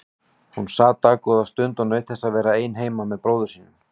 Hún sat dágóða stund og naut þess að vera ein heima með bróður sínum.